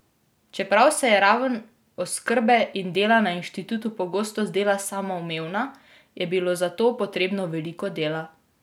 Čeprav se je raven oskrbe in dela na inštitutu pogosto zdela samoumevna, je bilo za to potrebnega veliko dela.